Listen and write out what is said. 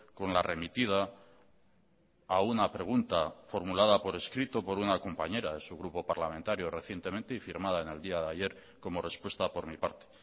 con la remitida a una pregunta formulada por escrito por una compañera de su grupo parlamentario recientemente y firmada en el día de ayer como respuesta por mi parte